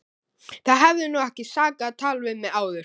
Það hefði nú ekki sakað að tala við mig áður!